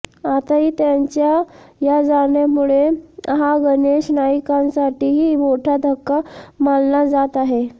आताही त्यांच्या या जाण्यामुळे हा गणेश नाईकांसाठीही मोठा धक्का मानला जात आहे